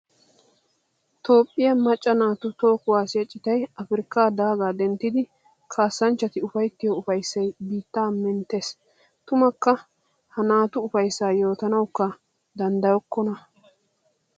Toophphiya macca naatu toho kuwasiya citay Afirkka daaga denttiddi kaassanchchatti ufayttiyo ufayssay biitta menttes! Tummakka ha naatu ufayssa yootanawukka danddayokko!